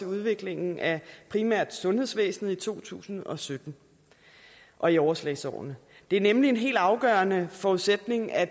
udviklingen af primært sundhedsvæsenet i to tusind og sytten og i overslagsårene det er nemlig en helt afgørende forudsætning at